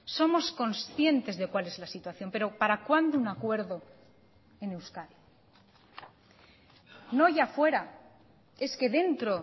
somos concientes de cuál es la situación pero para cuándo un acuerdo en euskadi no ya fuera es que dentro